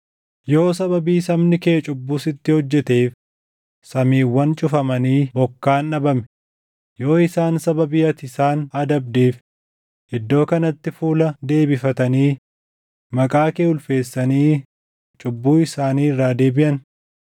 “Yoo sababii sabni kee cubbuu sitti hojjeteef samiiwwan cufamanii bokkaan dhabame, yoo isaan sababii ati isaan adabdeef iddoo kanatti fuula deebifatanii maqaa kee ulfeessanii cubbuu isaanii irraa deebiʼan,